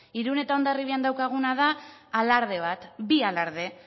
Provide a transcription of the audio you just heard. irun eta hondarribian daukaguna da alarde bat bi alarde